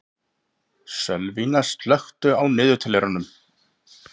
Sölvína, slökktu á niðurteljaranum.